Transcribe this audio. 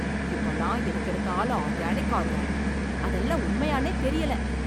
இப்பல்லாம் எதுக்கு எடுத்தாலும் ஆர்கானிக் ஆர்கானிக்? அதெல்லாம் உண்மையானே தெரியல.